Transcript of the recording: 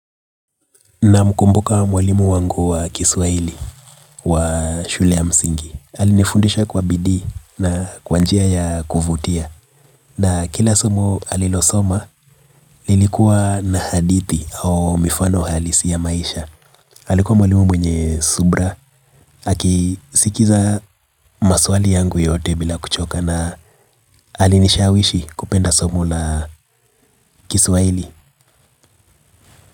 Namkumbuka mwalimu wangu wa kiswaili wa shule ya msingi. Alinifundisha kwa bidii na kwa njia ya kuvutia. Na kila somo alilosoma lilikuwa na hadithi au mifano halisi ya maisha alikuwa mwalimu mwenye subira aki akisikiza maswali yangu yote bila kuchoka alinishawishi kupenda somo la kiswahili.